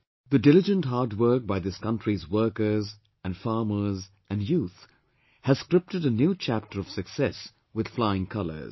The diligent hard work by this country's workers, and farmers, and youth has scripted a new chapter of success with flying colours